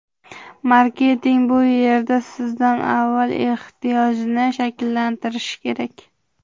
Marketing bu yerda sizda avval ehtiyojni shakllantirishi kerak.